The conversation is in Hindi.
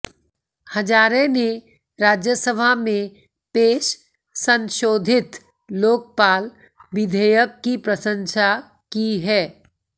हजारे ने राज्यसभा में पेश संशोधित लोकपाल विधेयक की प्रशंसा की है